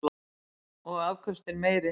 Og afköstin meiri.